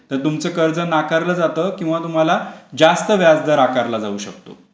जर तुमचा CIBIL score म्हणजे हा जो क्रेडिट स्कोर कमी असेल तर तुमचं कर्ज नाकारला जाता किंवा तुम्हाला जास्त व्याजदर आकारला जाऊ शकतो.